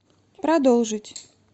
продолжить